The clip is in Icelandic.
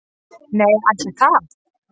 """Nei, ætli það."""